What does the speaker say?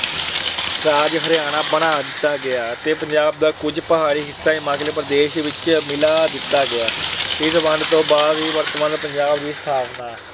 ਰਾਜ ਹਰਿਆਣਾ ਬਣਾ ਦਿੱਤਾ ਗਿਆ ਤੇ ਪੰਜਾਬ ਦਾ ਕੁਝ ਪਹਾੜੀ ਹਿੱਸਾ ਹਿਮਾਚਲ ਪ੍ਰਦੇਸ਼ ਵਿੱਚ ਮਿਲਾ ਦਿੱਤਾ ਗਿਆ। ਇਸ ਵੰਡ ਤੋਂ ਬਾਅਦ ਹੀ ਵਰਤਮਾਨ ਪੰਜਾਬ ਦੀ ਸਥਾਪਨਾ